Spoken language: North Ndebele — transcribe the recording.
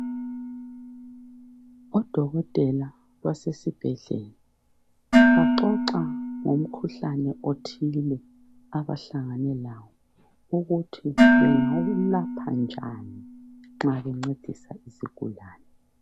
Odokotela basesibhedlela baxoxa ngomkhuhlane othile abahlangane lawo ukuthi bengawulapha njani nxa bencedisa izigulane.